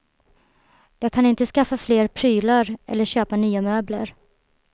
Jag kan inte skaffa fler prylar eller köpa nya möbler.